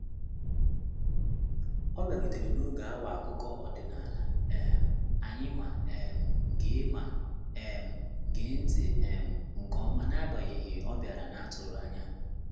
Ọ bịarutere n'oge awa akụkọ ọdịnala um anyị ma um gee ma um gee ntị um nke ọma n'agbanyeghị ọbiara naa tụrụanya.